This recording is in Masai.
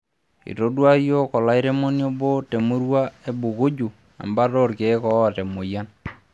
Eitodua yiok olairemoni obo temurua e Bukujju embata oorkeek oota emoyian